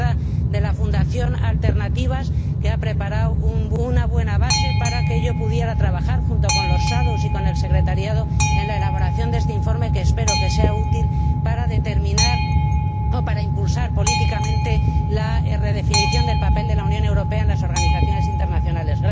Se trata de la Fundación Alternativas, que ha preparado una buena base para que yo pudiera trabajar, junto con los ponentes alternativos y con la secretaría, en la elaboración de este informe, que espero que sea útil para determinar o impulsar políticamente la redefinición del papel de la Unión Europea en las organizaciones internacionales.